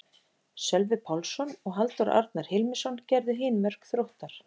Sölvi Pálsson og Halldór Arnar Hilmisson gerðu hin mörk Þróttar.